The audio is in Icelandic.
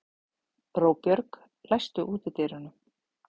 Róbjörg, læstu útidyrunum.